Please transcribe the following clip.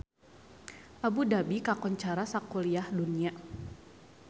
Abu Dhabi kakoncara sakuliah dunya